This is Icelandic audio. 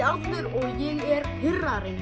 og ég er